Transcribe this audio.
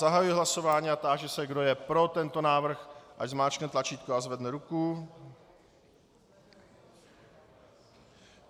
Zahajuji hlasování a táži se, kdo je pro tento návrh, ať zmáčkne tlačítko a zvedne ruku.